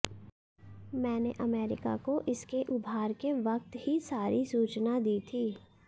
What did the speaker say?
मैंने अमेरिका को इसके उभार के वक्त ही सारी सूचना दी थी